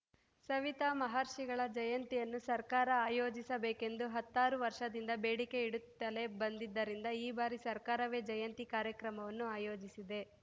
ಸವಿತಾ ಮಹರ್ಷಿಗಳ ಜಯಂತಿಯನ್ನು ಸರ್ಕಾರ ಆಯೋಜಿಸಬೇಕೆಂದು ಹತ್ತಾರು ವರ್ಷದಿಂದ ಬೇಡಿಕೆ ಇಡುತ್ತಲೇ ಬಂದಿದ್ದರಿಂದ ಈ ಬಾರಿ ಸರ್ಕಾರವೇ ಜಯಂತಿ ಕಾರ್ಯಕ್ರಮವನ್ನು ಆಯೋಜಿಸಿದೆ